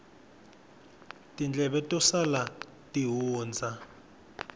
tindleve to sala ti hundza